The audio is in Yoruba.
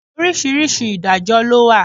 Oríṣiríṣi Ìdájọ́ lọ wà.